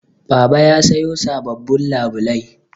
Baba ya sayo sababbin labulai